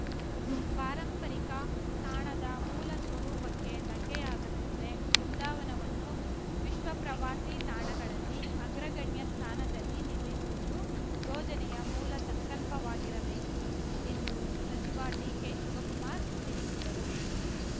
ಪಾರಂಪರಿಕ ತಾಣದ ಮೂಲ ಸ್ವರೂಪಕ್ಕೆ ಧಕ್ಕೆಯಾಗದಂತೆ ಬೃಂದಾವನವನ್ನು ವಿಶ್ವಪ್ರವಾಸಿ ತಾಣಗಳಲ್ಲಿ ಅಗ್ರಗಣ್ಯ ಸ್ಥಾನದಲ್ಲಿ ನಿಲ್ಲಿಸುವುದು ಯೋಜನೆಯ ಮೂಲ ಸಂಕಲ್ಪವಾಗಿರಬೇಕು ಎಂದು ಸಚಿವ ಡಿಕೆಶಿವಕುಮಾರ್ ತಿಳಿಸಿದರು